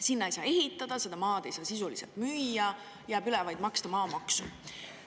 Sinna ei saa ehitada, seda maad ei saa sisuliselt müüa, jääb üle vaid maksta maamaksu.